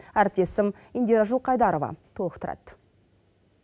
әріптесім индира жылқайдарова толықтырады